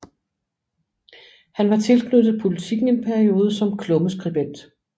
Han var tilknyttet Politiken en periode som klummeskribent